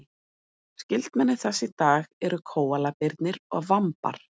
skyldmenni þess í dag eru kóalabirnir og vambar